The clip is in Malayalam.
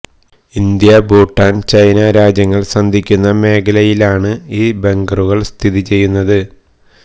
ഇന്ത്യ ഭൂട്ടാന് ചൈന രാജ്യങ്ങള് സന്ധിക്കുന്ന മേഖലയിലാണ് ഈ ബങ്കറുകള് സ്ഥിതി ചെയ്യുന്നത്